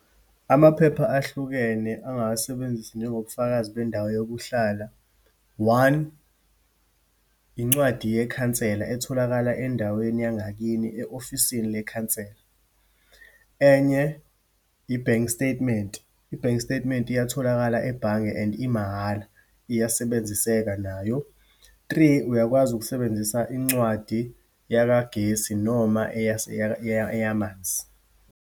Amaphepha ahlukene angawasebenzisa njengobufakazi bendawo yokuhlala. One, incwadi yekhansela, etholakala endaweni yangakini, e-ofisini lekhanselara. Enye, i-bank statement, i-bank statement iyatholakala ebhange and imahala, iyasebenziseka nayo. Three, uyakwazi ukusebenzisa incwadi yakagesi noma eyamanzi.